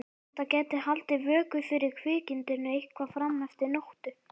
Þetta gæti haldið vöku fyrir kvikindinu eitthvað fram eftir nóttu.